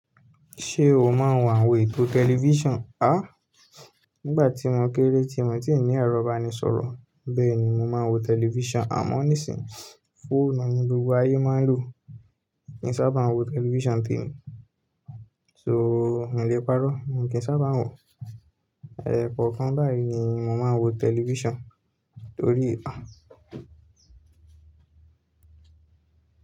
Ṣé o máa ń wo àwọn ètò tẹlifíṣàn? A! Nígbà tí mo kéré tí mo ti ń ní ẹ̀rọ ìbánisọ̀rọ̀, bẹ́ẹ̀ ni mo máa ń wo tẹlifíṣàn àmọ́ nísìnyí fóònù ni gbogbo ayé máa ń lò. N kì í sábà wo tẹlifíṣàn ń témi, so mi ò le pàrọ́, mo kì í ń sábà wo. Ẹ̀ẹ̀kọ̀kan báyìí ni mo máa ń wo tẹlifíṣàn torí à.